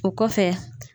O kɔfɛ